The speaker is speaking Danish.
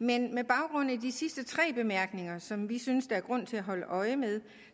men med baggrund i de sidste tre bemærkninger som vi synes der er grund til at holde øje med